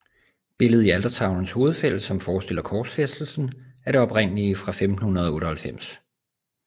Billedet i altertavelens hovedfelt som forestiller korsfæstelsen er det oprindelige fra 1598